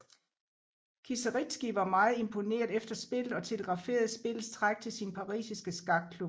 Kieseritzky var meget imponeret efter spillet og telegraferede spillets træk til sin parisiske skakklub